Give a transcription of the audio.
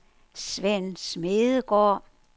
Svend Smedegaard